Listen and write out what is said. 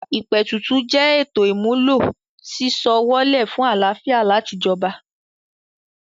ìpètùtù jẹ́ ètò ìmúlò sísọ ọwọ́ lẹ̀ fún àlàáfíà láti jọba.